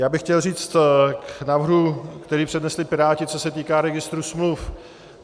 Já bych chtěl říct k návrhu, který přednesli Piráti, co se týká registru smluv.